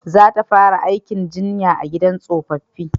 Za ta fara aikin jinya a gidan tsofaffi